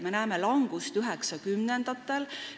Me näeme langust 1990-ndatel.